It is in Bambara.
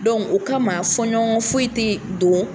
o kama fɔɲɔgɔ foyi te don